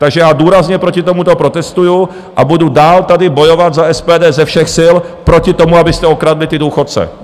Takže já důrazně proti tomuto protestuji a budu dál tady bojovat za SPD ze všech sil proti tomu, abyste okradli ty důchodce.